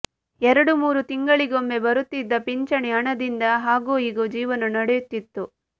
ಎರಡು ಮೂರು ತಿಂಗಳಿಗೊಮ್ಮೆ ಬರುತ್ತಿದ್ದ ಪಿಂಚಣಿ ಹಣದಿಂದ ಹಾಗೋ ಹೀಗೋ ಜೀವನ ನಡೆಯುತ್ತಿತ್ತು